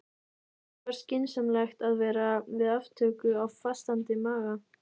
Ekki var skynsamlegt að vera við aftöku á fastandi maga.